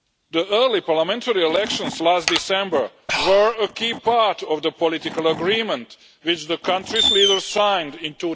The early parliamentary elections last December were a key part of the political agreement which the country's leaders signed in